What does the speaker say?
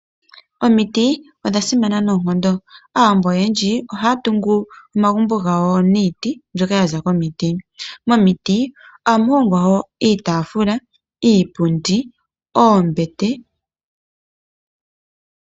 Omiti odha simana nonkondo, Aawambo oyendji ohaya tungu omagumbo gawo niiti mbyoka yaza komiti. Momiti ohamu hongwa wo iitafula, iipundi nombete.